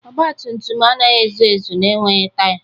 ọgbatumtum anaghị ezu ezu na-enweghị taya